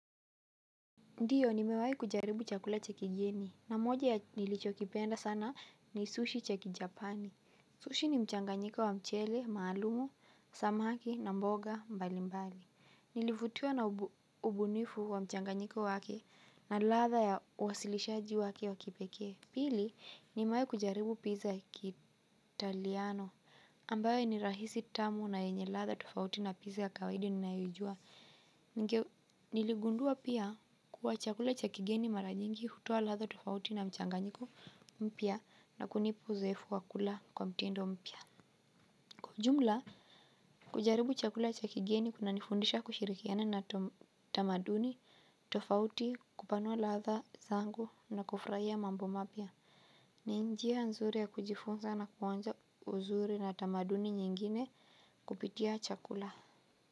Ndiyo nimewai kujaribu chakula cha kigeni na moja ya nilicho kipenda sana ni sushi cha kijapani. Sushi ni mchanganyiko wa mchele, maalumu, samaki, na mboga, mbali mbali. Nilivutiwa na ubunifu wa mchanganyiko wake na latha ya wasilishaji wake wakipeke. Pili nimewai kujaribu pizza kitaliano ambayo ni rahisi tamu na yenye latha tufauti na pizza kawede ni naiujua. Nilegundua pia kuwa chakula cha kigeni maranyingi hutua latha tofauti na mchanganyiko mpia na kunipu zefu wakula kwa mtendo mpia. Kwa ujumla, kujaribu chakula chakigeni kuna nifundisha kushirikiana na tamaduni tofauti kupanua latha zango na kufraia mambo mapya. Ninjia nzuri ya kujifunza na kuwanza uzuri na tamaduni nyingine kupitia chakula.